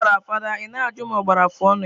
Ọkụ gbara fada, i na ajụ ma ọ gbara afọ ọnụ ya.